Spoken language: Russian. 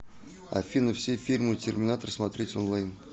афина все фильмы терминатор смотреть онлайн